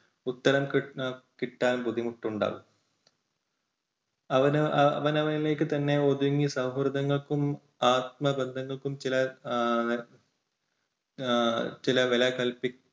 ഉത്തരം കിട്ടാൻ കിട്ടാൻ ബുദ്ധിമുട്ടുണ്ടാകും. അവന് അവനവനിലേക്ക് തന്നെ ഒതുങ്ങി സൗഹൃദങ്ങൾക്കും ആത്മബന്ധങ്ങൾക്കും ചില എഹ് ചില വില കൽപ്പിക്കുന്ന